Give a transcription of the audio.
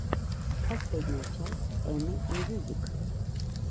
последняя часть эми мьюзик